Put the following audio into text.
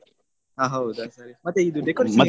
ಅಹ್ ಹೌದಾ ಸರಿ ಮತ್ತೆ ಇದು decorations ಗೆ?